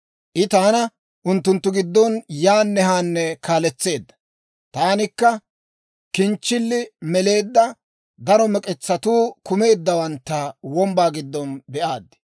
I taana unttunttu giddon yaanne haanne kaaletseedda; taanikka kinchchilli meleedda daro mek'etsatuu kumeeddawantta wombbaa giddon be'aad.